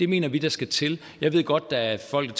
mener vi der skal til jeg ved godt at der er folk